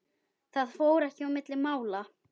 Það fór ekki milli mála.